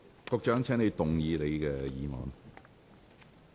局長，請動議你的議案。